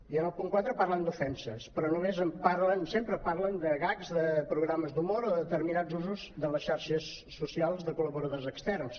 i en el punt quatre parlen d’ofenses però sempre parlen de gags de programes d’humor o determinats usos de les xarxes socials de col·laboradors externs